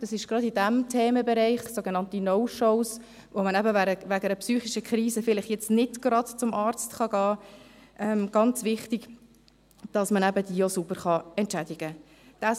Gerade in diesem Themenbereich ist es ganz wichtig, sogenannte No-Shows, wo man wegen einer psychischen Krise vielleicht nicht gerade zum Arzt gehen kann, dass man diese sauber entschädigen kann.